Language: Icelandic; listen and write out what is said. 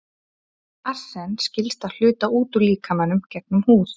arsen skilst að hluta út úr líkamanum gegnum húð